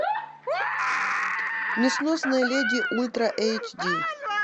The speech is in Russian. несносная леди ультра эйч ди